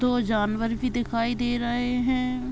दो जानवर भी दिखाई दे रहे है।